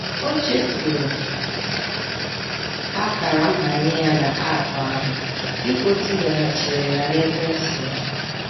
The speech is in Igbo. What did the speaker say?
Ochefuru ákàrà-mbanye ya na Aapụ ahụ dịka otinyeghachịrị y'à nekwenti ya